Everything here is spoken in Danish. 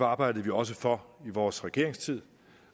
arbejdede vi også for i vores regeringstid